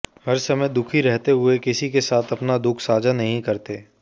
हर समय दुःखी रहते हुए किसी के साथ अपना दुःख साझा नहीं करते